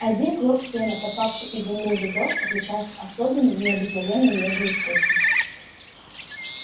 один клок сена попавший изумруду в рот отличался особенным необыкновенно нежным вкусом